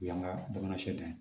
O y'an ka bamanan s